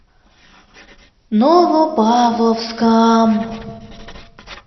новопавловском